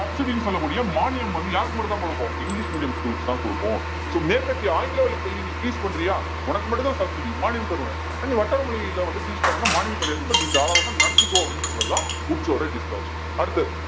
subsidy ன்னு சொல்லக்கூடிய மானியம் வந்து யாருக்கு மட்டும்தான் கொடுப்போம் இங்கிலிஷ் medium schools க்குத்தான் கொடுப்போம் so மேற்கத்திய ஆங்கில வழிக் கல்வியை நீ teach பண்றியா உனக்கு மட்டும்தான் subsidy மானியம் தருவேன் நீ வட்டார மொழியில வந்து teach பண்ணணும்ன்னா மானியம் கிடையாது but நீ தாராளமா நடத்திக்கோ அப்படின்னு சொன்னதுதான் வுட்ஸ் ஓட dispatch அடுத்தது